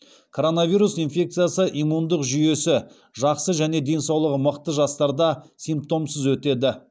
коронавирус инфекциясы иммундық жүйесі жақсы және денсаулығы мықты жастарда симптомсыз өтеді